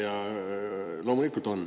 Ja loomulikult on.